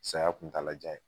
Saya kuntala jan ye